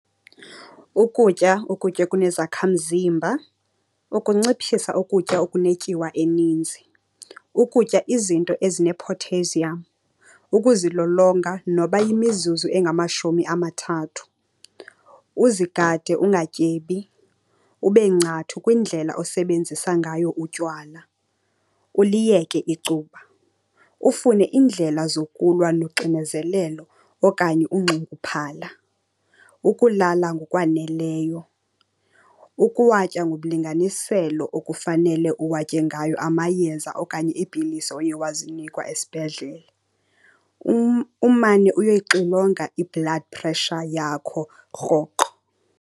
Ukutya ukutya okunezakhamzimba, ukunciphisa ukutya okunetyiwa eninzi, ukutya izinto ezine-potassium, ukuzilolonga noba yimizuzu engamashumi amathathu, uzigade ungatyebi, ube ngcathu kwindlela osebenzisa ngayo utywala, uliyeke icuba. Ufune iindlela zokulwa uxinezelelo okanye unxunguphala, ukulala ngokwaneleyo, ukuwatya ngomlinganiselo okufanele uwatye ngayo amayeza okanye iipilisi oye wazinikwa esibhedlele. Umane uyoyixilonga i-blood pressure yakho rhoqo.